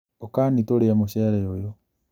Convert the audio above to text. ũkani tũrĩe mũcere ũyũ